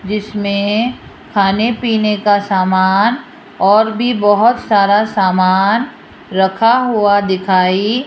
जिसमें खाने पीने का सामान और भी बहोत सारा सामान रखा हुआ दिखाई --